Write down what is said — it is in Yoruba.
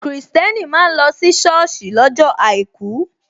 Kristẹni máa ń lọ si soosi lọ́jọ́ àìkú.